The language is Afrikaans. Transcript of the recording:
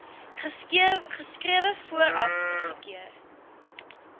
geskrewe vooraf goedkeuring